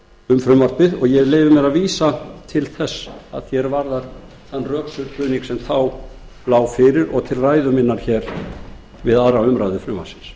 um frumvarpið og ég leyfi mér að vísa til þess að því er varðar þann rökstuðning sem þá lá fyrir og til ræðu minnar við aðra umræðu frumvarpsins